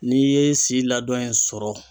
N'i ye si ladɔn in sɔrɔ